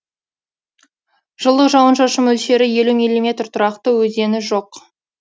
жылдық жауын шашын мөлшері елу миллиметр тұрақты өзені жоқ